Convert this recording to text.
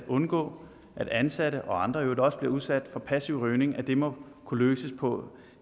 undgås at ansatte og andre i øvrigt også bliver udsat for passiv rygning må kunne løses på